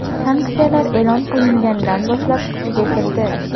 Sanksiyalar e’lon qilinganidan boshlab kuchga kirdi.